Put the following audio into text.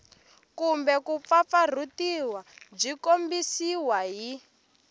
kumbe kumpfampfarhutiwa byi tikombisa hi